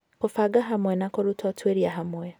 Kũbanga Hamwe na Kũruta Ũtuĩria Hamwe